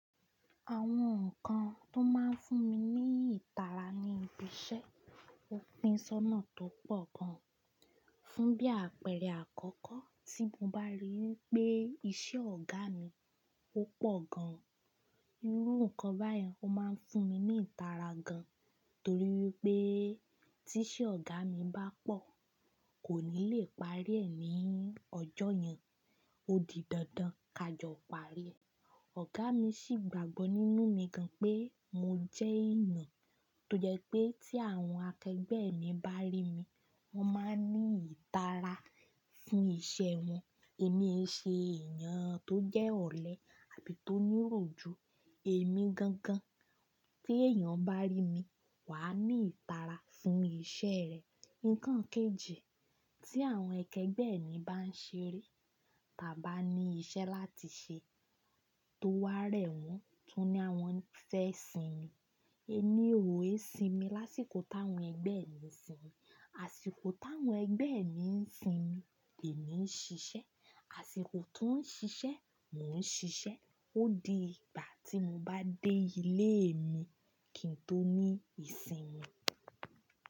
Àwọn nǹkan tó máa ń fún mi ní ìtara ni ìbi iṣẹ́, òpin sọ́nà tó pọ̀ gan. Fún bí àpẹẹrẹ àkọ́kọ́ tí mo bá rí wipé iṣẹ́ ọ̀gá mi ò pọ̀ gan, irú nǹkan báyen ó máa ń fún mi ní ìtara gan torí wipé tí iṣẹ́ ọ̀gá mi bá pọ̀, kò ní lè parí ẹ̀ ní ọjọ́ yẹn, ó di dandan kájọ̀ parí. Ọ̀gá mi sì gbàgbọ́ nínú mi gan pé mo jẹ́ èeyàn tó jẹ́ pé tí àwọn akẹgbẹ́ mi bá rí mi, wọ́n máa ní ìtara fún iṣẹ́ wọn. Èmi e ṣe èèyàn tó jẹ́ ọ̀lẹ àbí tó ní ìròjú èmi gangan. Tí èèyàn bá rí mi, wà á ní ìtara fún iṣẹ́ rẹ̀. Nǹkan kejì tí àwọn akẹgbẹ́ mi bá ń ṣeré tà a bá ní iṣẹ́ láti ṣe tó wá rẹ̀ wọ́n, ti won ní àwọn fẹ́ sinmi. Èmi ò è sinmi lásìkò táwọn ẹgbẹ́ mi ń sinmi. Àsìkò táwọn ẹgbẹ́ mi ń sinmi, èmi ń ṣiṣẹ́, àsìkò ti wóń ṣiṣẹ́, mò ń ṣiṣẹ́. Ó di ìgbà tí mo bá dé ilé mi kí n tó ní ìsinmi.